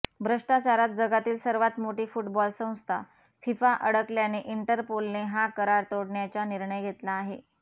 भ्रष्टाचारात जगातील सर्वात मोठी फुटबॉल संस्था फिफा अडकल्याने इंटरपोलने हा करार तोडण्याचा निर्णय घेतला आहे